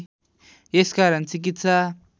यस कारण चिकित्सा